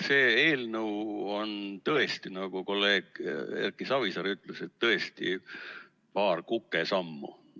See eelnõu on tõesti, nagu kolleeg Erki Savisaar ütles, paar kukesammu.